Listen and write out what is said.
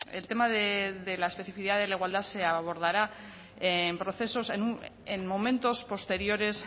el tema de la especificidad de la igualdad se abordará en momentos posteriores